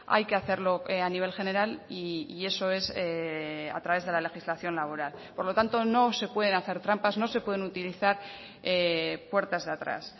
hay que hacerlo a nivel general y eso es a través de la legislación laboral por lo tanto no se pueden hacer trampas no se pueden utilizar puertas de atrás